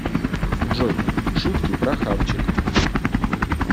джой шутки про хавчик